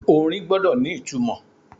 Orin gbọ́dọ̀ ni ìtumò.